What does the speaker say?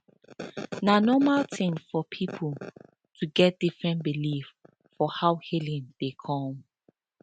na normal tin for pipo to get different believe for how healing dey come